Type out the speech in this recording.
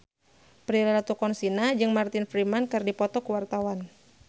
Prilly Latuconsina jeung Martin Freeman keur dipoto ku wartawan